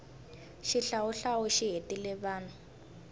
xihlawuhlawu xi hetile vanhu